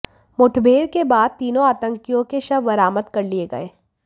मुठभेड़ के बाद तीनों आतंकियों के शव बरामद कर लिए गए